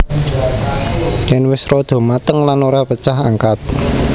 Yen wis rada mateng lan ora pecah angkat